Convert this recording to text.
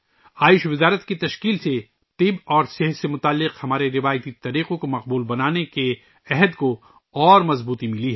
آیوش کی وزارت کی تشکیل نے ہمارے روایتی طریقوں اور صحت کو مقبول بنانے کے ہمارے عزم کو مزید مضبوط کیا ہے